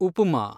upma